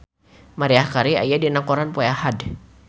Maria Carey aya dina koran poe Ahad